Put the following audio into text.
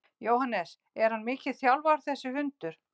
Jóhannes: Er hann mikið þjálfaður þessi hundur?